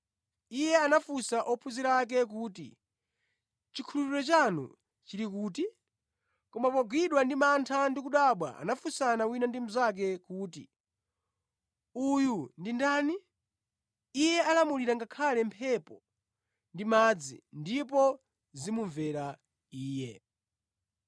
Iye anafunsa ophunzira ake kuti, “Chikhulupiriro chanu chili kuti?” Koma pogwidwa ndi mantha ndi kudabwa anafunsana wina ndi mnzake kuti, “Uyu ndi ndani? Iye alamulira ngakhale mphepo ndi madzi, ndipo zimumvera Iye.”